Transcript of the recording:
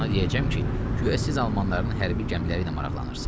Ona deyəcəm ki, guya siz almanların hərbi gəmiləri ilə maraqlanırsız.